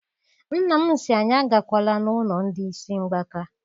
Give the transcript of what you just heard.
Nna m sị anyị agakwala n'ụlọ ndị isi mgbaka.